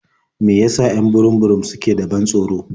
Me ya sa 'yan burum-burum suke da ban tsoro?